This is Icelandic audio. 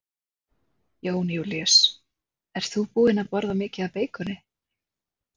Jón Júlíus: Ert þú búin að borða mikið af beikoni?